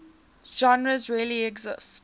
genres really exist